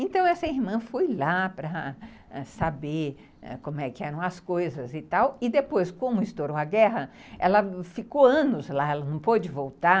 Então essa irmã foi lá para saber como é que eram as coisas e tal, e depois, como estourou a guerra, ela ficou anos lá, ela não pôde voltar,